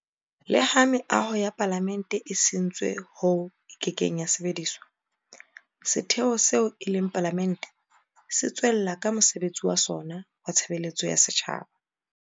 Leha meaho ya Palamente e sentswe hoo e kekeng ya sebediswa, setheo seo e leng Palamente se tswella ka mosebetsi wa sona wa tshebeletso ya setjhaba.